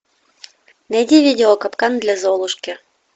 найди видео капкан для золушки